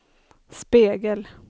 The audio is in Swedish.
spegel